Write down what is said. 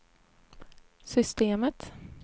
systemet